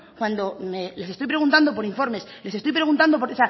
cuando les estoy preguntando por informes les estoy preguntando por